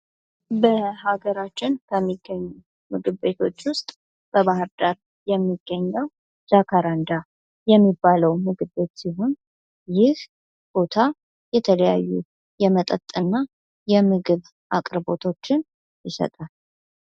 በሀገራችን በሚገኙ ምግብ ቤቶች ውስጥ በባህር ዳር የሚገኘው ጃካራንዳ የሚባለው ምግብ ቤት ሲሆን ፤ ይህ ቦታ የተለያዩ የመጠጥና የምግብ አቅርቦቶችን ይሰጣል።